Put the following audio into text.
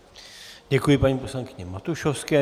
Děkuji paní poslankyni Matušovské.